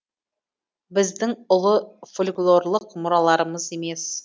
біздің ұлы фольклорлық мұраларымыз емес